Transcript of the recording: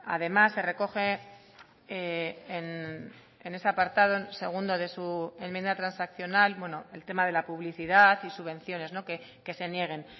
además se recoge en ese apartado segundo de su enmienda transaccional el tema de la publicidad y subvenciones que se nieguen